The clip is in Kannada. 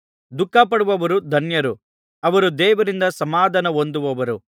ದುಃಖಪಡುವವರು ಧನ್ಯರು ಅವರು ದೇವರಿಂದ ಸಮಾಧಾನ ಹೊಂದುವರು